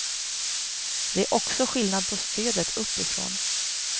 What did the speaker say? Det är också skillnad på stödet uppifrån.